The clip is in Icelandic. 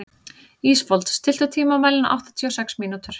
Ísfold, stilltu tímamælinn á áttatíu og sex mínútur.